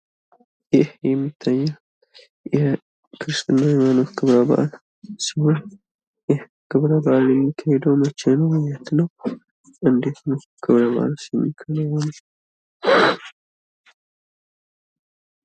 ይህ የሚታየው የክርስትና ሃይማኖት ክብረበአል ሲሆን ይህ ክብረ በአል የሚካሄደው መቼ ነው? የት ነው? እንደት ነው ክብረበአሉስ የሚከናወነው?